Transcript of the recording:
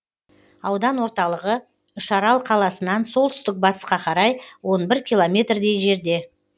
аудан орталығы үшарал қаласынан солтүстік батысқа қарай он бір километр дей жерде